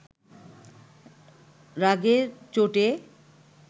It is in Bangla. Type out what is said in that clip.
রাগের চোটে